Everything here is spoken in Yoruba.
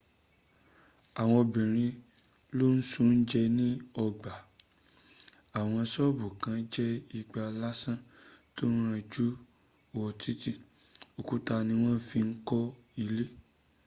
àwọn obìrin ló n s’oúnjẹ ní ọgbà àwọn ṣọ́bù kàn jẹ́ igbá lásán tón ranjú wo títí. òkúta ní wọ́n fi ń kọ́ ilé